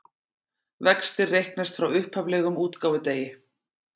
Vextir reiknast frá upphaflegum útgáfudegi